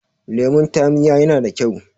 lemon taamiya yana da kyau